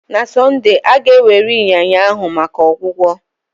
Na Sọnde, a ga-ewere ịnyịnya ahụ maka ọgwụgwọ.